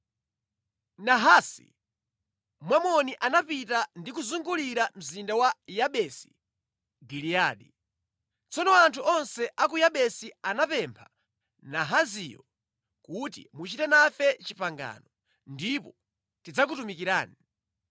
Nahasi, Mwamoni anapita ndi kuzungulira mzinda wa Yabesi Giliyadi. Tsono anthu onse a ku Yabesi anapempha Nahasiyo kuti, “Muchite nafe pangano, ndipo tidzakutumikirani.”